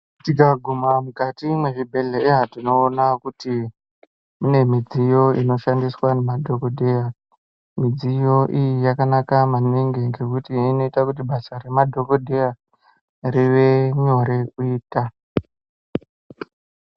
Tikaguma mukati mezvibhedhlera tinoona kuti mune midziyo inoshandiswa nemadhokoteya midziyo iyi yakanaka maningi ngekuti inoita kuti basa remadhokodheya rive nyore kuita.